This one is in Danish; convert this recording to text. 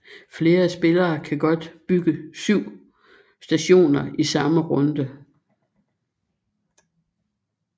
Flere spillere kan godt bygge syv stationer i samme runde